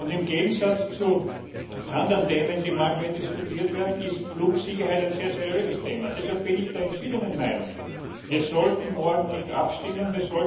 Im Gegensatz zu anderen Themen, die manchmal hier diskutiert werden, ist Flugsicherheit ein sehr seriöses Thema. Deshalb bin ich der entschiedenen Meinung, wir sollten morgen nicht abstimmen.